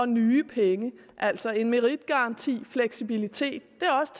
nye penge altså det med meritgarantien og fleksibiliteten er også